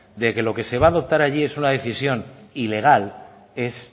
de que lo que se va adoptar allí es una decisión ilegal es